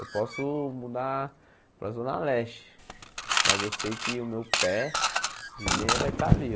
Eu posso mudar para a Zona Leste, mas eu sei que o meu pé de meia vai estar ali.